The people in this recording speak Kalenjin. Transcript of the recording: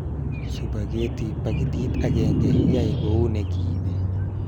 Supageti paketit agenge yae kou ne kibe